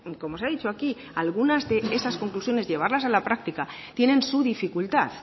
como se ha dicho aquí algunas de esas conclusiones llevadas a la práctica tienen su dificultad